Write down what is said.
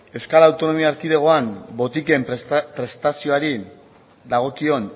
euskal autonomia erkidegoan botiken prestazioari dagokion